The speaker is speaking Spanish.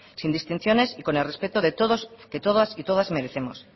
sin distinciones y con el respeto que todos y todas merecemos